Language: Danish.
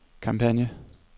kampagne